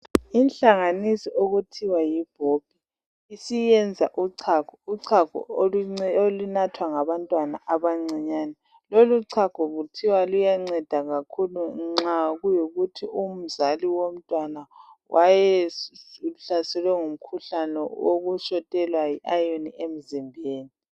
inhlanganiso okuthiwa yi bobbie isiyenza uchago uchago olunathwa ngabntwana abancinyane loluchago kuthiwa luyanceda kakhulu nxa kuyikuthi umzali womntwana wayehlaselwe ngumkhuhlane okushotelwa yi iron emzimbeni